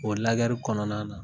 O lagɛri kɔnɔna na